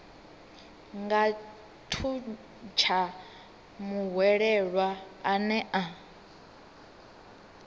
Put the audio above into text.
nga thuntsha muhwelelwa ane a